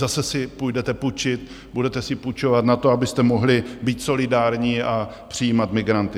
Zase si půjdete půjčit, budete si půjčovat na to, abyste mohli být solidární a přijímat migranty.